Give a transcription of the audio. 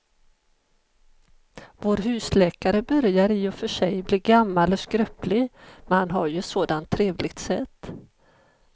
Vår husläkare börjar i och för sig bli gammal och skröplig, men han har ju ett sådant trevligt sätt!